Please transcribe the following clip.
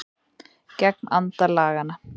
Gegn anda laganna